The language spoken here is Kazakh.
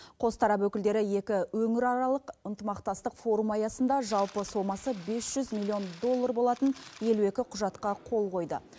қос тарап өкілдері екі өңіраралық ынтымақтастық форумы аясында жалпы сомасы бес жүз миллион доллар болатын елу екі құжатқа қол қойды